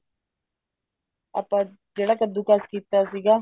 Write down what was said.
ਆਪਾਂ ਜਿਹੜਾ ਕੱਦੂ ਕਸ਼ ਕੀਤਾ ਸੀਗਾ